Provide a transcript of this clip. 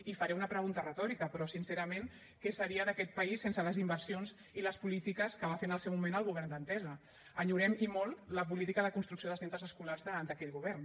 i faré una pregunta retòrica però sincerament què seria d’aquest país sense les inversions i les polítiques que va fer en el seu moment el govern d’entesa enyorem i molt la política de construcció de centres escolars d’aquell govern